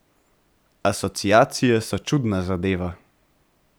Asociacije so čudna zadeva.